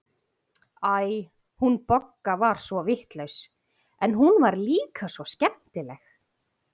Æ, hún Bogga var svo vitlaus, en hún var líka svo skemmtileg.